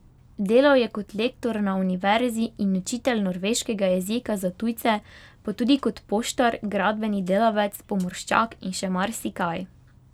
Delal je kot lektor na univerzi in učitelj norveškega jezika za tujce, pa tudi kot poštar, gradbeni delavec, pomorščak in še marsikaj.